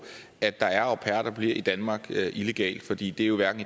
at der er au pairer der bliver i danmark illegalt fordi det jo hverken